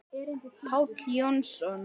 Páll Jónsson